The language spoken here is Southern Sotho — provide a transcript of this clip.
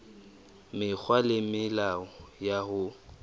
mekgwa le melao ya ho